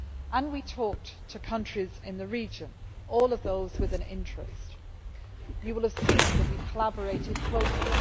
And we talked to countries in the region, all of those with an interest. You will have seen that we collaborated closely.